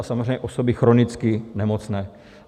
A samozřejmě osoby chronicky nemocné.